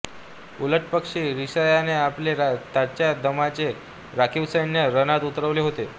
उलटपक्षी रशियाने आपले ताज्या दमाचे राखीव सैन्य रणात उतरवले होते